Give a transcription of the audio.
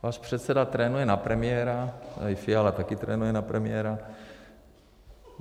Váš předseda trénuje na premiéra, tady Fiala taky trénuje na premiéra.